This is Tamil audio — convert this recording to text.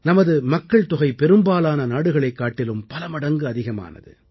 நமது மக்கள்தொகை பெரும்பாலான நாடுகளைக் காட்டிலும் பலமடங்கு அதிகமானது